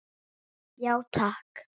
Já takk.